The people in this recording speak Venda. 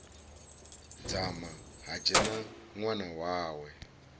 dzama ha dzhena ṅwana wawe